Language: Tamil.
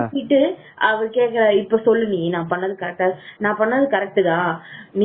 அவர் கேட்கிறார் இப்ப சொல்லு நீ நான் பண்ணது கரெக்டா நான் பண்ணது கரெட்டா நா பண்ணது கரெக்ட் தான்